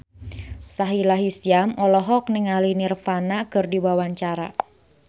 Sahila Hisyam olohok ningali Nirvana keur diwawancara